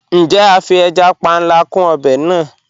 Njẹ̀, a fí ẹja pánlà kún obè náà?